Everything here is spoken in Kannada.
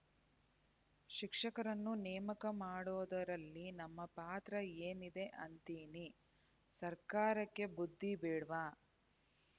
ಶಿಕ್ಷಕರನ್ನು ನೇಮಕ ಮಾಡೋದರಲ್ಲಿ ನಮ್ಮ ಪಾತ್ರ ಏನಿದೆ ಅಂತೀನಿ ಸರ್ಕಾರಕ್ಕೆ ಬುದ್ಧಿ ಬೇಡ್ವಾ